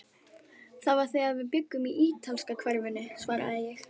Það var þegar við bjuggum í ítalska hverfinu svaraði ég.